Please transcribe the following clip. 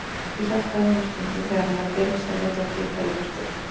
Ég hjálpaði honum stundum þegar hann var að byrja að selja dótið í Kolaportinu.